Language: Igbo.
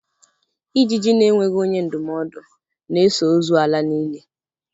Ijiji na-enweghị onye ndụmọdụ na-eso ozu ala n'ili